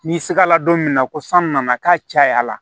N'i sigala don min na ko san nana k'a caya la